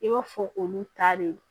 I b'a fɔ olu ta de don